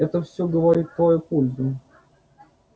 это всё говорит в твою пользу